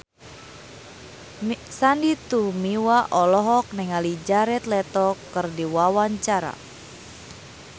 Sandy Tumiwa olohok ningali Jared Leto keur diwawancara